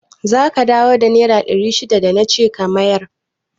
Zaka dawo da naira ɗari shidan da nace ka mayar?